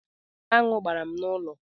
Aṅụ gbara m n'ụlọ.